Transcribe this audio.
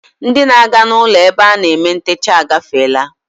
Ndị na-aga ụlọ ebe a na-eme ntecha agafeela